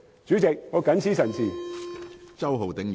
主席，我謹此陳辭。